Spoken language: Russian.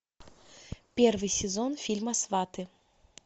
первый сезон фильма сваты